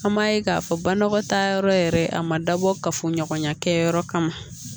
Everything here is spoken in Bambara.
An m'a ye k'a fɔ banakɔta yɔrɔ yɛrɛ a ma dabɔ kafoɲɔgɔnya kɛyɔrɔ kama